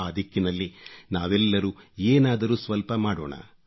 ಆ ದಿಕ್ಕಿನಲ್ಲಿ ನಾವೆಲ್ಲರೂ ಏನಾದರೂ ಸ್ವಲ್ಪ ಮಾಡೋಣ